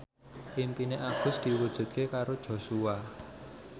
impine Agus diwujudke karo Joshua